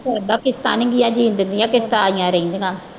ਸਰਦਾ ਕਿਸ਼ਤਾਂ ਜੀਣ ਦਿੰਦੀਆਂ ਕਿਸ਼ਤਾਂ ਆਈਆਂ ਰਹਿੰਦੀਆਂ।